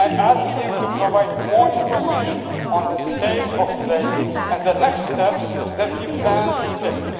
I asked him to provide more information on the state of play and the next steps that he planned to take.